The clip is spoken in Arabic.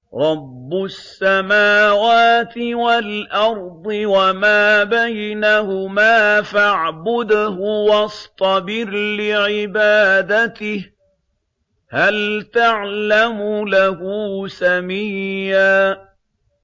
رَّبُّ السَّمَاوَاتِ وَالْأَرْضِ وَمَا بَيْنَهُمَا فَاعْبُدْهُ وَاصْطَبِرْ لِعِبَادَتِهِ ۚ هَلْ تَعْلَمُ لَهُ سَمِيًّا